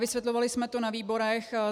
Vysvětlovali jsme to na výborech.